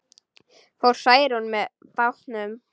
Fór Særún með bátnum.